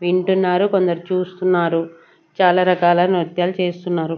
వింటున్నారు కొందరు చూస్తున్నారు చాల రాకాల నృత్యాలు చేస్తున్నారు.